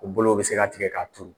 U bolow bɛ se ka tigɛ k'a turu.